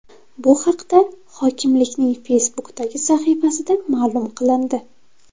Bu haqda hokimlikning Facebook’dagi sahifasida ma’lum qilindi .